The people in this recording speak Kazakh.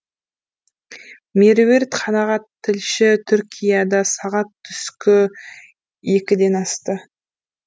меруерт қанағат тілші түркияда сағат түскі екіден асты